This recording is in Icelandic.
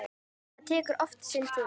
Það tekur oft sinn tíma.